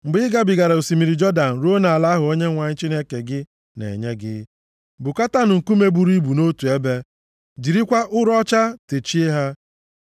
Mgbe ị gabigara osimiri Jọdan ruo nʼala ahụ Onyenwe anyị Chineke gị na-enye gị, bukọtaanụ nkume buru ibu nʼotu ebe, jirikwa ụrọ ọcha techie ha.